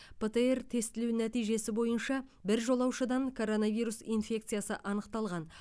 птр тестілеу нәтижесі бойынша бір жолаушыдан коронавирус инфекциясы анықталған